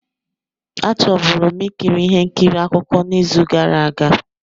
A chọburu m ikiri ihe nkiri akụkọ n'izu gara aga.